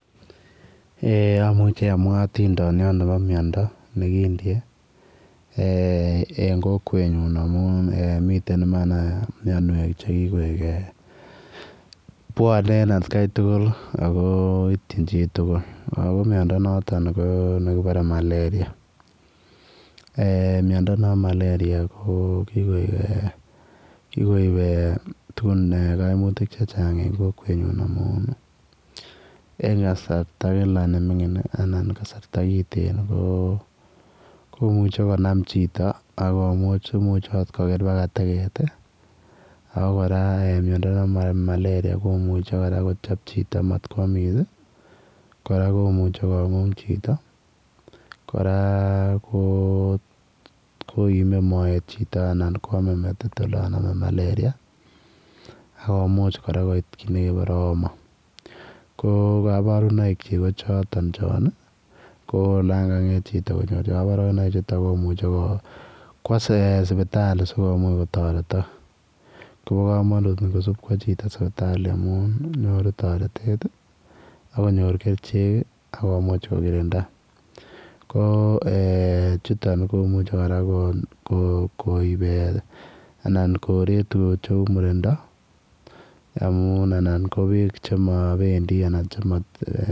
Eeh amuuchi amwaa ontindaniat nekindie en kokwet nyuun amuun mitten Imani che kikoek bwane en at Kai tuguul ako ityiin chii tuguul miando nitoon ko miando nebo malaria miando nebo malaria ko kikoek eeh gun kaimutiik che chaang en kokwet nyuun eng kasarta Kila ne minging anan kasarta kitten ko konam chitoo akomuuch imuch akoot Kroger mbaka tegeet iiako kora miando nebo malaria komuchei kochap chitoo mat koyamis kora komuchei konguung chitoo kora koime moet anan koyaam metit olaan kanam malaria akomuuch koit kora koit kiit nekebare homa ko kabarunaik kyiik ko chutoon choon ko olaan kangeet chitoo konyoor kabarunaik che uu chutoon komuchei chitoo kobwaa sipitali sikomuuch kotaretaak kobaa kamanut NGO sup kobwaa chitoo sipitali amuun nyoruu taretet ii akenyoor kercheek ii akomuuch ko kirindaa ko eeh chutoon komuchei kora koib anan koree tuguk che uu murindaa amuun anan ko beek chemabendii anan.